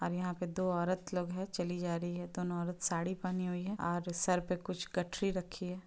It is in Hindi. और यहाँ पे दो औरत लोग है चली जा रही है। दोनों औरत साड़ी पहनी हुई है और सर पर कुछ गठरी रखी है।